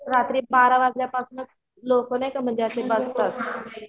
रात्री बारावाजल्यापासूनच लोक नाहीका म्हणजे असे बसतात